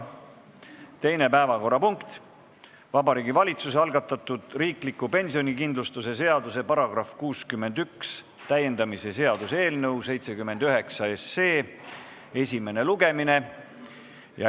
Teine päevakorrapunkt on Vabariigi Valitsuse algatatud riikliku pensionikindlustuse seaduse § 61 täiendamise seaduse eelnõu 79 esimene lugemine.